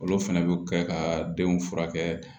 Olu fɛnɛ bɛ kɛ ka denw furakɛ